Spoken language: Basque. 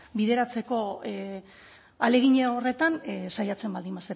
bideratzeko ahalegin horretan saiatzen baldin